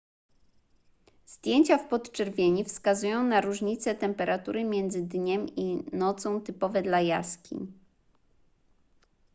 zdjęcia w podczerwieni wskazują na różnice temperatury między dniem i nocą typowe dla jaskiń